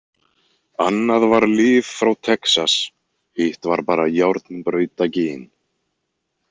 Annað var lyf frá Texas, hitt var bara járnbrautagin.